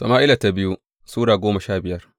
biyu Sama’ila Sura goma sha biyar